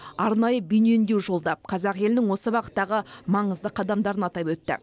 арнайы бейне үндеу жолдап қазақ елінің осы бағыттағы маңызды қадамдарын атап өтті